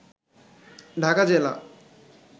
ঢাকা জেলা